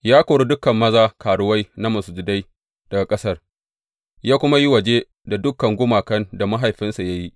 Ya kori dukan maza karuwai na masujadai daga ƙasar, ya kuma yi waje da dukan gumakan da mahaifinsa ya yi.